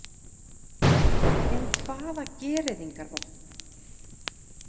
En hvaða gereyðingarvopn?